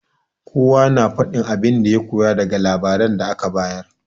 Kowa na faɗin abin da ya koya daga labarin da aka bayar.